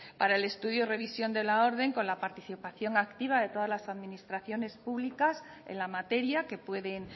para el estudio revisión de la orden con la participación activa de todas las administraciones públicas en la materia que pueden